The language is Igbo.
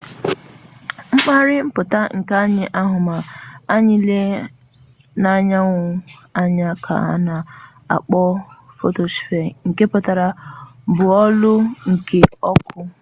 mpaghara mputa nkea anyi ahu ma anyi lee anyanwu anya ka ana akpo photospere nke putara bọọlụ nke ọkụ